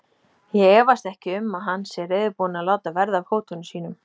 Ég efast ekki um, að hann sé reiðubúinn að láta verða af hótunum sínum.